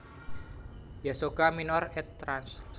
Ysagoga minor ed transl